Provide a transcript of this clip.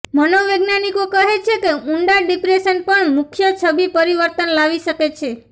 મનોવૈજ્ઞાનિકો કહે છે કે ઊંડા ડિપ્રેશન પણ મુખ્ય છબી પરિવર્તન લાવી શકે છે